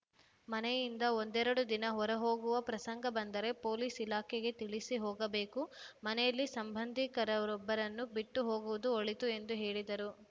ಮನೆಯಿಂದ ಒಂದೆರೆಡು ದಿನ ಹೊರ ಹೋಗುವ ಪ್ರಸಂಗ ಬಂದರೆ ಪೊಲೀಸ್‌ ಇಲಾಖೆಗೆ ತಿಳಿಸಿ ಹೋಗಬೇಕು ಮನೆಯಲ್ಲಿ ಸಂಬಂಧಿಕರೊಬ್ಬರನ್ನು ಬಿಟ್ಟು ಹೋಗುವುದು ಒಳಿತು ಎಂದು ಹೇಳಿದರು